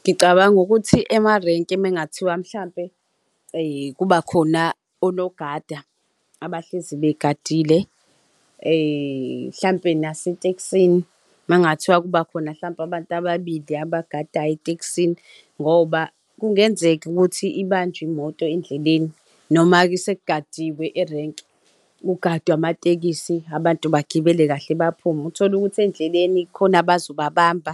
Ngicabanga ukuthi emarenki uma ngathiwa mhlawumpe kuba khona onogada abahlezi begadile mhlampe nasetekisini uma kungathiwa kubakhona mhlawumpe abantu ababili abagadayo etekisini ngoba kungenzeka ukuthi ibanjwe imoto endleleni noma-ke sikugadiwe erenki. Kugadwe amatekisi abantu bagibele kahle, baphume. Uthole ukuthi ezindleleni kukhona abazobabamba